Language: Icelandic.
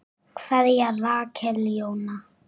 Kveðja, Rakel Jóna.